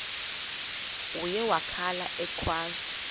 uye wakhala ekhwaza